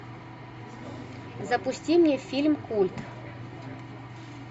запусти мне фильм культ